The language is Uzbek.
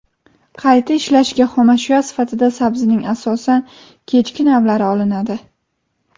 Qayta ishlashga xomashyo sifatida sabzining asosan kechki navlari olinadi.